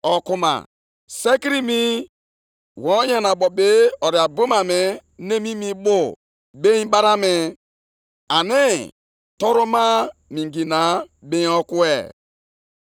Nʼihi na ụwa niile ga-ejupụta na ihe ọmụma nke ebube Onyenwe anyị, dịka mmiri si ekpuchi oke osimiri.